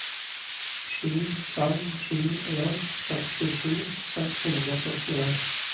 sju fem sju en sekstisju seks hundre og syttien